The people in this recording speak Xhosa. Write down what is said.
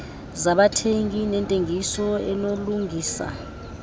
zabathengi nentengiso enobulungisa